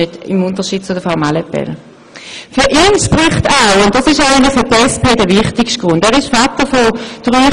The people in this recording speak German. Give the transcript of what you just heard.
Für ihn spricht zudem, dass er Vater dreier Kinder ist und einen Tag pro Woche zu seinen Kindern schauen will.